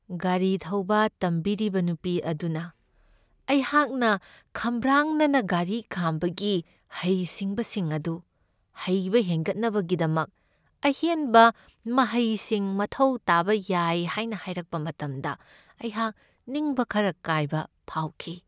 ꯒꯥꯔꯤ ꯊꯧꯕ ꯇꯝꯕꯤꯔꯤꯕ ꯅꯨꯄꯤ ꯑꯗꯨꯅ ꯑꯩꯍꯥꯛꯅ ꯈꯝꯕ꯭ꯔꯥꯡꯅꯅ ꯒꯥꯔꯤ ꯈꯥꯝꯕꯒꯤ ꯍꯩꯁꯤꯡꯕꯁꯤꯡ ꯑꯗꯨ ꯍꯩꯕ ꯍꯦꯟꯒꯠꯅꯕꯒꯤꯗꯃꯛ ꯑꯍꯦꯟꯕ ꯃꯍꯩꯁꯤꯡ ꯃꯊꯧ ꯇꯥꯕ ꯌꯥꯏ ꯍꯥꯏꯅ ꯍꯥꯏꯔꯛꯄ ꯃꯇꯝꯗ ꯑꯩꯍꯥꯛ ꯅꯤꯡꯕ ꯈꯔ ꯀꯥꯏꯕ ꯐꯥꯎꯈꯤ ꯫